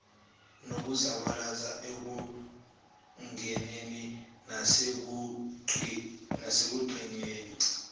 nokuzabalaza ekungeneni nasekucingeni